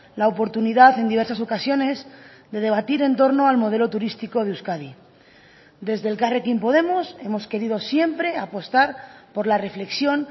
la oportunidad en diversas ocasiones de debatir en torno al modelo turístico de euskadi desde elkarrekin podemos hemos querido siempre apostar por la reflexión